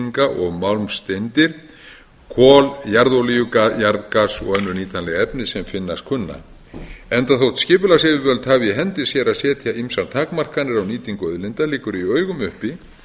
málmblendinga og málmsteindir kol jarðolíu jarðgas og önnur nýtanleg efni sem finnast kunna enda þótt skipulagsyfirvöld hafi í hendi sér að setja ýmsar takmarkanir á nýtingu auðlinda liggur í augum uppi